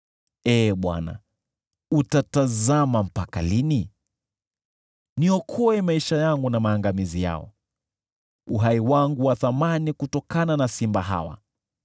Ee Bwana , utatazama mpaka lini? Niokoe maisha yangu na maangamizi yao, uhai wangu wa thamani kutokana na simba hawa.